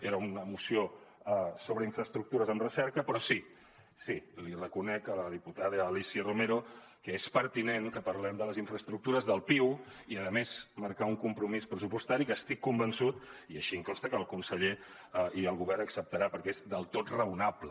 era una moció sobre infraestructures en recerca però sí sí li reconec a la diputada alícia romero que és pertinent que parlem de les infraestructures del piu i a més marcar un compromís pressupostari que estic convençut i així em consta que el conseller i el govern acceptaran perquè és del tot raonable